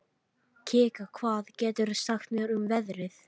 Kikka, hvað geturðu sagt mér um veðrið?